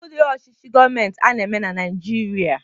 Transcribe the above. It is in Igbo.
Kedu udiri ọchichi gọmentị ana-eme na naijiria?